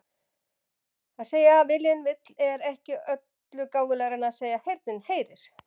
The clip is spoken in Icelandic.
Að segja viljinn vill er ekki öllu gáfulegra en að segja heyrnin heyrir.